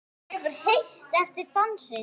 Er ykkur heitt eftir dansinn?